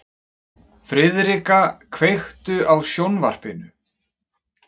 Friðrika, kveiktu á sjónvarpinu.